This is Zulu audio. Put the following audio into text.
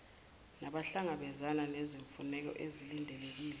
nabahlangabezana nezimfuneko ezilindelekile